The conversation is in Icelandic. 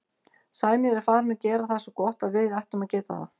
Sæmi er farinn að gera það svo gott að við ættum að geta það.